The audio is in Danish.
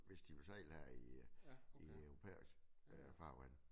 Hvis de vil sejle her i øh i europæisk øh farvand